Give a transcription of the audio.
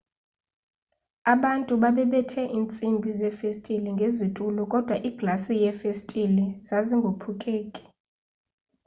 abantu babebethe intsimbi zefestile ngezitulo kodwa iglasi yefestile zazingophuleki